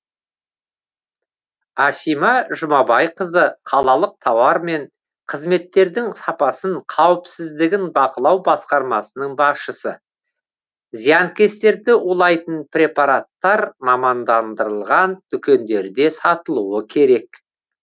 асима жұмабайқызы қалалық тауар мен қызметтердің сапасын қауіпсіздігін бақылау басқармасының басшысы зиянкестерді улайтын препараттар мамандандырылған дүкендерде сатылуы керек